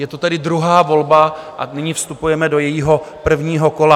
Je to tedy druhá volba a nyní vstupujeme do jejího prvního kola.